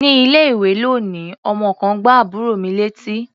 Ní ilé-ìwé lónìí, ọmọ kan gbá àbúrò mi létí.